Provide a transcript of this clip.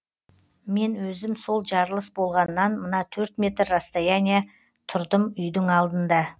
мен өзім сол жарылыс болғаннан мына төрт метр расстояние тұрдым үйдің алдында